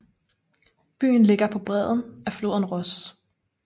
Byen ligger på bredden af floden Ros